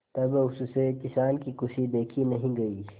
तब उससे किसान की खुशी देखी नहीं गई